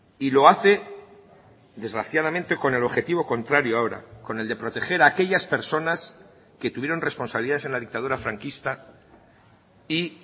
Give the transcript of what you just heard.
y lo hace desgraciadamente con el objetivo contrario ahora con el de proteger a aquellas personas que tuvieron responsabilidades en la dictadura franquista y